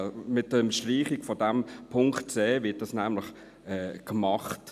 Mit der Streichung des Punkts c wird dies nämlich gemacht.